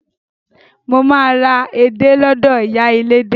Mo máa ra edé lọ́dọ̀ ìyá elédé.